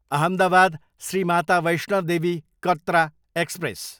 Ahmedabad, Shri Mata Vaishno Devi Katra express